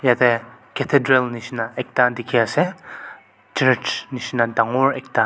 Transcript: Yatheh cathedral neshina ekta dekhi ase church neshina dangor ekta.